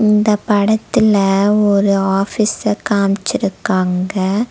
இந்தப் படத்துல ஒரு ஆபீஸ்ஸ காம்சிருக்காங்க.